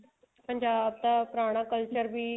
ਪੰਜਾਬ ਦਾ ਪੁਰਾਣਾ culture ਵੀ